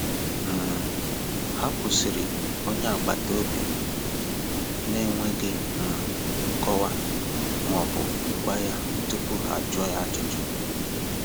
um Ha kwụsịrị onye agbata obi m n’enweghị um nkọwa ma ọ bụ gwa ya tupu ha jụọ ya ajụjụ.